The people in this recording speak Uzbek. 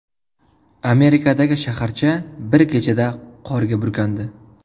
Amerikadagi shaharcha bir kechada qorga burkandi.